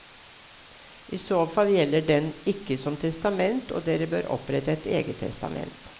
I så fall gjelder den ikke som testament og dere bør opprette et eget testament.